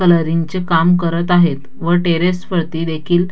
कलरिंगचे काम करत आहेत व टेरेस वरती देखील--